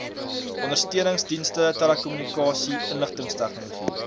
ondersteuningsdienste telekommunikasie inligtingstegnologie